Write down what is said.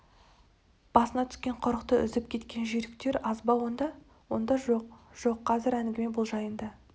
басына түскен құрықты үзіп кеткен жүйріктер аз ба онда онда жоқ жоқ қазір әңгіме бұл жайында